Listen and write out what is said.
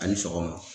A ni sɔgɔma